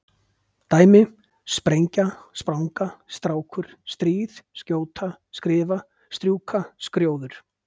Dæmi: sprengja, spranga, strákur, stríð, skjóta, skrifa, strjúka, skrjóður.